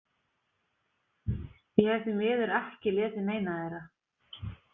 Ég hef því miður ekki lesið neina þeirra.